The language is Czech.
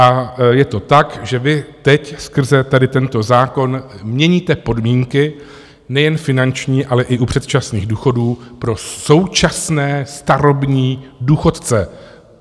A je to tak, že vy teď skrze tady tento zákon měníte podmínky nejen finanční, ale i u předčasných důchodů pro současné starobní důchodce.